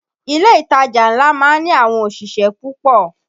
Ilé ìtajà ńlá má ń ní àwọn òṣìṣẹ́ púpọ̀